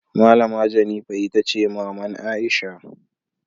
Malama Jennifer Itace maman Aisha.